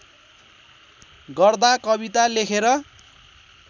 गर्दा कविता लेखेर